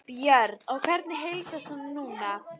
Björn: Og hvernig heilsast honum núna?